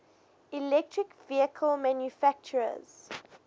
electric vehicle manufacturers